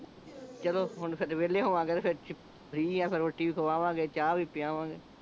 ਚਲੋ ਹੁਣ ਫੇਰ ਵਹਿਲੇ ਹੋਵਾਂਗੇ ਤੇ ਫ਼੍ਰੀ ਆਂ ਫੇਰ ਰੋਟੀ ਵੀ ਖਵਾਵਾਂਗੇ ਚਾਹ ਵੀ ਪਵਾਵਾਂਗੇ